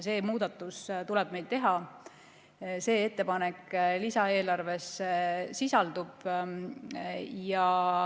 See muudatus tuleb meil teha ja see ettepanek lisaeelarves sisaldub.